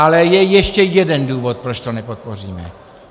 Ale je ještě jeden důvod, proč to nepodpoříme.